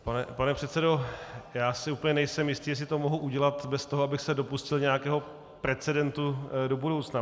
Pane předsedo, já si úplně nejsem jistý, jestli to mohu udělat bez toho, abych se dopustil nějakého precedentu do budoucna.